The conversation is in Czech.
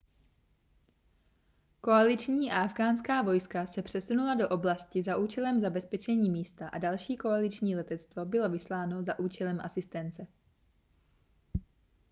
koaliční a afghánská vojska se přesunula do oblasti za účelem zabezpečení místa a další koaliční letectvo bylo vysláno za účelem asistence